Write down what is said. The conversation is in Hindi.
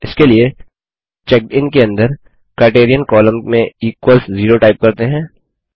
इसके लिए चेकडिन के अंदर क्राइटेरियन कॉलम में इक्वल्स 0 टाइप करते हैं